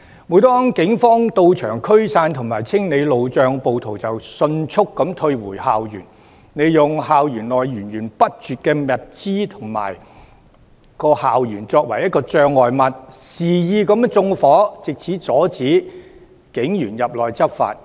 每當警方到場驅散及清理路障，暴徒便迅速退回校園，利用校園內源源不絕的物資築成障礙物，肆意縱火，藉此阻止警員入內執法。